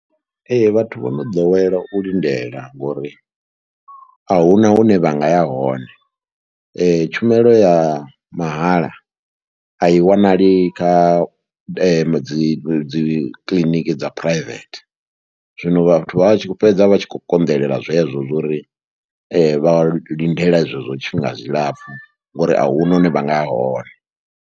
Ee, vhathu vho no ḓowela u lindela ngori a hu na hune vha nga ya hone, tshumelo ya mahala a i wanali kha dzi dzi kiḽiniki dza phuraivethe, zwino vhathu vha tshi fhedza vha tshi khou konḓelela zwezwo zwa uri vha lindele zwezwo tshifhinga tshilapfhu ngauri a hu na hune vha nga ya hone.